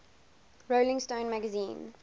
rolling stone magazine